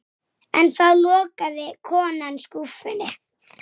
Geysast ofan góminn.